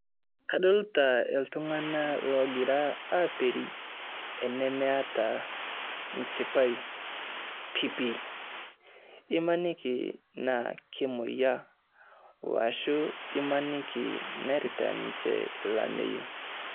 Kadolita iltung'ana loogira aperi, enemeeta enchipai pipii, imaniki naa kemoyia washu nearita ninche olameyu.